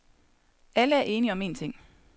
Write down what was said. Alle er enige om en ting.